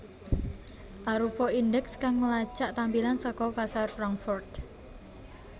arupa indeks kang ngelacak tampilan saka pasar Frankfurt